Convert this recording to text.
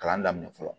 Kalan daminɛ fɔlɔ